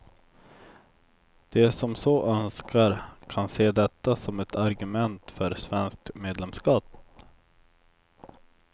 De som så önskar kan se detta som ett argument för svenskt medlemskap.